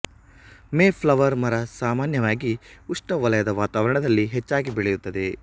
May flower ಮರ ಸಾಮಾನ್ಯವಾಗಿ ಉಷ್ಣ ವಲಯದ ವಾತಾವರಣದಲ್ಲಿ ಹೆಚ್ಚಾಗಿ ಬೆಳೆಯುತ್ತದೆ